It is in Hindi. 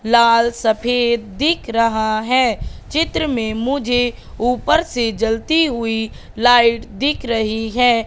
लाल सफेद दिख रहा है चित्र में मुझे ऊपर से जलती हुई लाइट दिख रही हैं।